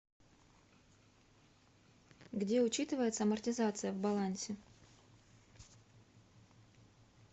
где учитывается амортизация в балансе